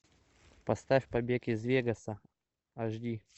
поставь побег из вегаса аш ди